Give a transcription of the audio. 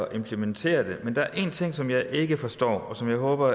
implementere den men der er en ting som jeg ikke forstår og som jeg håber